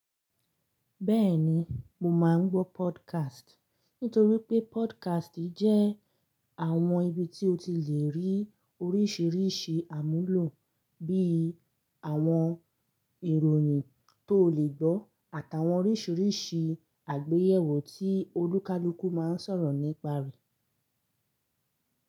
Bẹ́ẹ̀ni, mo máa ń gbọ́ podcast nítorí pé podcast jẹ́ àwọn ibi tí o ti le rí oríṣiríṣi àmúlò bí i àwọn ìròyìn tó le gbọ́ àtàwọn oríṣiríṣi àgbéyẹ̀wò tí olúkaluku máa ń sọ̀rọ̀ nípa rẹ̀.